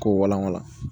K'o wala wala